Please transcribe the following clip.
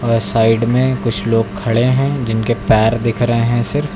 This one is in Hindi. और साइड में कुछ लोग खड़े हैं जिनके पैर दिख रहे हैं सिर्फ।